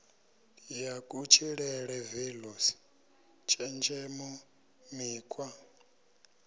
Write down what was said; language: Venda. ya kutshilele values tshenzhemo mikhwa